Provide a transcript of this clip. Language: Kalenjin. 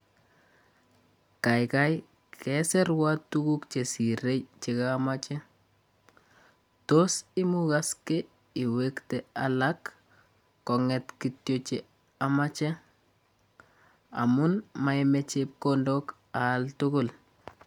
Kaikai kesirwa tuguk chesire che kamache, tos imukaske iwekte alak konget kityo che amache, amu moyome chepkondok aal tugul.